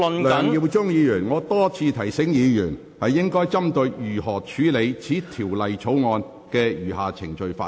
梁耀忠議員，我已多次提醒議員應針對如何處理《條例草案》的餘下程序發言。